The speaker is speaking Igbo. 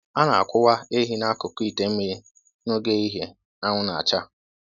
A na-akwụwa ehi n'akụkụ ite mmiri n'oge ehihie anwụ na-acha